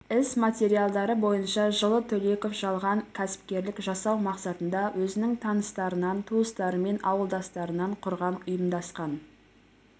іс материалдары бойынша жылы төлеков жалған кәсіпкерлік жасау мақсатында өзінің таныстарынан туыстары мен ауылдастарынан құрған ұйымдасқан